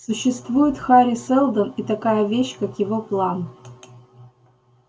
существует хари сэлдон и такая вещь как его план